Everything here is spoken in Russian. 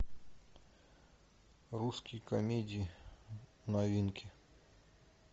русские комедии новинки